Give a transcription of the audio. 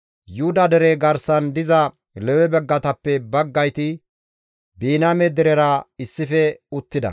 Yuhuda dere garsan diza Lewe baggatappe baggayti Biniyaame derera issife uttida.